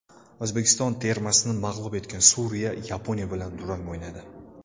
O‘zbekiston termasini mag‘lub etgan Suriya Yaponiya bilan durang o‘ynadi.